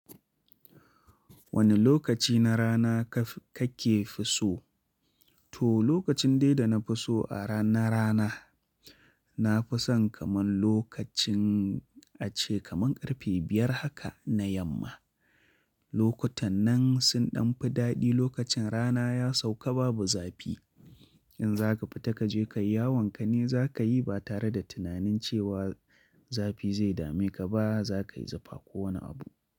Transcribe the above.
Wane lokaci na rana ka ke fi so? To, lokacin dai da na fi so a rana rana, na fi son kaman lokacin a ce kaman ƙarfe biyar haka na yamma. Lokutan nan sun ɗan fi daɗi, lokacin rana ya sauka babu zafi. In za ka fita ka je kayi yawon kane za ka yi ba tare da tunanin cewa zafi zai dame ka ba, za ka yi zufa ko wani abu.